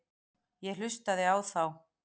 Ég hlustaði á þá.